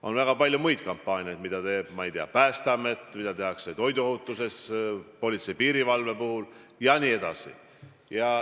On väga palju muid kampaaniaid, mida teeb, ma ei tea, Päästeamet, mida tehakse toiduohutuse valdkonnas, politsei ja piirivalve valdkonnas jne.